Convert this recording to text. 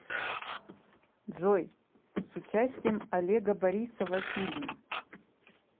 джой с участием олега борисова фильм